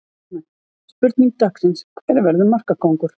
Spurning dagsins: Hver verður markakóngur?